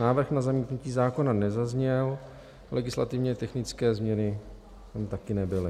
Návrh na zamítnutí zákona nezazněl, legislativně technické změny tam také nebyly.